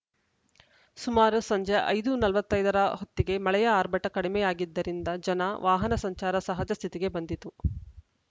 ಸುಮಾರು ಸಂಜೆ ಐದು ನಲವತ್ತ್ ಐದ ರ ಹೊತ್ತಿಗೆ ಮಳೆಯ ಆರ್ಭಟ ಕಡಿಮೆಯಾಗಿದ್ದರಿಂದ ಜನ ವಾಹನ ಸಂಚಾರ ಸಹಜ ಸ್ಥಿತಿಗೆ ಬಂದಿತು